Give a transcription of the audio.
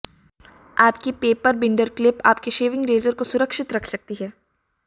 आपकी paper binder clip आपकी shaving razor को सुरक्षित रख सकती है